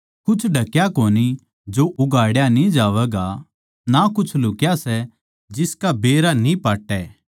कुछ ढकया कोनी जो उघाड़या न्ही जावैगा ना कुछ लुहक्या सै जिसका बेरा न्ही पटै